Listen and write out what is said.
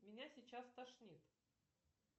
меня сейчас стошнит